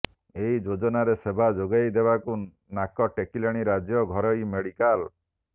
ଏହି ଯୋଜନାରେ ସେବା ଯୋଗାଇବାକୁ ନାକ ଟେକିଲେଣି ରାଜ୍ୟ ଘରୋଇ ମେଡିକାଲ